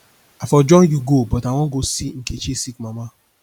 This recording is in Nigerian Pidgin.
i for join you go but i wan go see nkechi sick mama